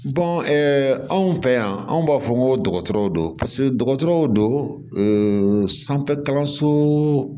anw fɛ yan anw b'a fɔ n ko dɔgɔtɔrɔw don paseke dɔgɔtɔrɔw don sanfɛkalanso